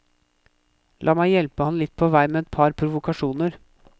La meg hjelpe ham litt på vei med et par provokasjoner.